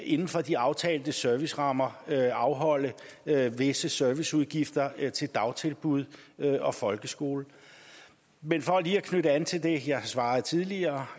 inden for de aftalte servicerammer skal afholde visse serviceudgifter til dagtilbud og folkeskoler men for lige at knytte an til det jeg har svaret tidligere